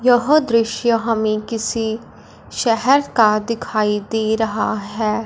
यह दृश्य हमें किसी शहर का दिखाई दे रहा है।